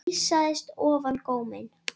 Geysast ofan góminn.